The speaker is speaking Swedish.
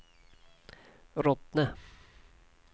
Rottne